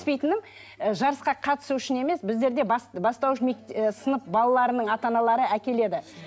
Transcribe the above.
жарысқа қатысу үшін емес біздерде бастауыш і сынып балаларының ата аналары әкеледі